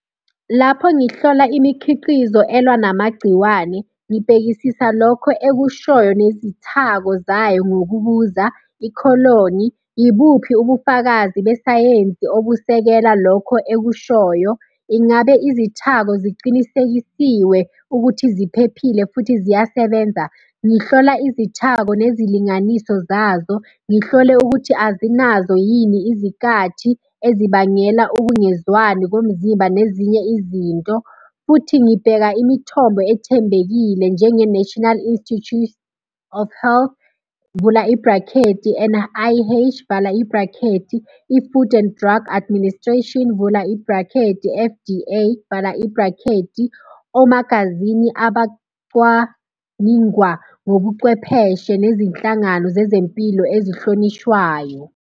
Lapho ngihlola imikhiqizo elwa namagciwane, ngibhekisisa lokho ekushoyo nezithako zayo ngokubuza ikholini, ibuphi ubufakazi besayensi obusekela lokho ekushoyo? Ingabe izithako ziqinisekisiwe ukuthi ziphephile futhi ziyasebenza? Ngihlola izithako nezilinganiso zazo. Ngihlole ukuthi azinazo yini izikhathi ezibangela ukungezwani komzimba nezinye izinto, futhi ngibheka imithombo ethembekile njenge-National Institute of Health, vula ibhrakhethi, N_I_H, vala ibhrakhethi. I-Food and Drug Administration, vula ibhrakhethi, F_D_A, vala ibhrakhedi. Omagazini abacwaningwa ngobucwepheshe nezinhlangano zezempilo ezihlonishwayo.